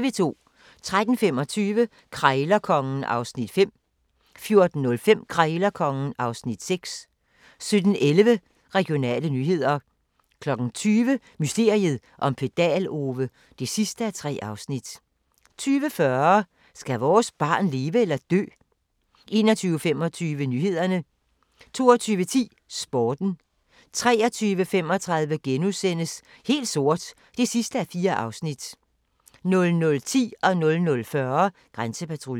13:25: Krejlerkongen (Afs. 5) 14:05: Krejlerkongen (Afs. 6) 17:11: Regionale nyheder 20:00: Mysteriet om Pedal-Ove (3:3) 20:40: Skal vores barn leve eller dø? 21:25: Nyhederne 22:10: Sporten 23:35: Helt sort (4:4)* 00:10: Grænsepatruljen 00:40: Grænsepatruljen